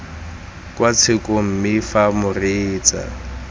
kwa tshekong mme fa moreetsa